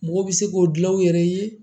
Mɔgɔ bɛ se k'o dilan u yɛrɛ ye